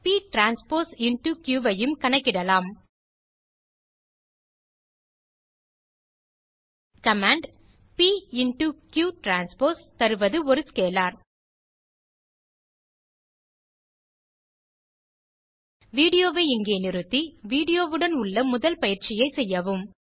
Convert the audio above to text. p transpose into Q ஐயும் கணக்கிடலாம் command p into q transpose தருவது ஒரு scalar வீடியோ வை இங்கே நிறுத்தி வீடியோ வுடன் உள்ள முதல் பயிற்சியை செய்யவும்